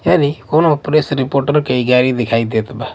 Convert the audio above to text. कोनो press reporter के ई गाड़ी देखाई देत बा--